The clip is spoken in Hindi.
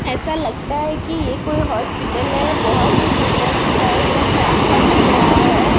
ऐसा लगता है कि ये कोई हॉस्पिटल है बहुत ही सुंदर दिख रहा है सब साफ साफ दिख रहा है।